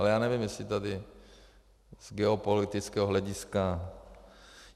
Ale já nevím, jestli tady z geopolitického hlediska...